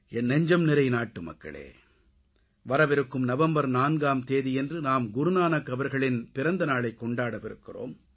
என் நெஞ்சம்நிறை நாட்டுமக்களே வரவிருக்கும் நவம்பர் 4ஆம் தேதி நாம் குருநானக் அவர்களின் பிறந்த நாளைக் கொண்டாடவிருக்கிறோம்